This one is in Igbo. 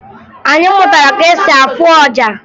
Anyị mụtara ka e si afụ ọja